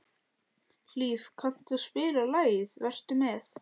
Hlíf, kanntu að spila lagið „Vertu með“?